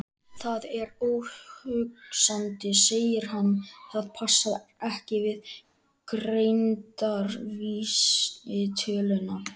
Það er óhugsandi, segir hann, það passar ekki við greindarvísitöluna.